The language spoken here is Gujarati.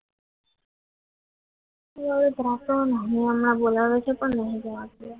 એ હવે લોકડાઉનમાં ગોલાણા થી પણ નહીં જવાતું